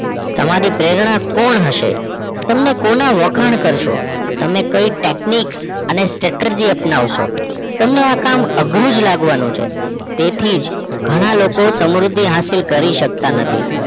તમારી પ્રેરણા કોણ હશે તમે કોણ વખાણ કરશો તમે કઈ Techniques અને Statergy અપનવશો તમને આ કામ અઘરું જ લગવાનું છે એથી જ ઘણાં લોકો સમૃદ્ધિ હાશિલ કરી શકતા નથી